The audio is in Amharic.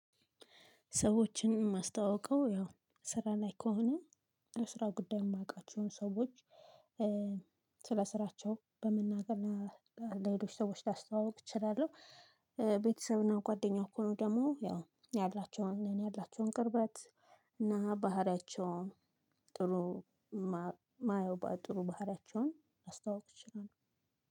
ሰዎችን ማስተዋውቀው ያው ስራ ላይ ከሆነ ለስራ ጉዳይ የማውቃቸውን ሰዎች ስለ ስራቸው በመናገር ለሌሎች ሰዎች ላስተዋውቅ እችላለሁ። ቤተሰብና ጓደኛው እኮ ነው ደግሞ ያው ያላቸውን ያላቸውን ቅርበት እና ባህሪያቸውን ጥሩ ማየው ጥሩ ባህሪያቸውን ማስታወቅ ይችላል።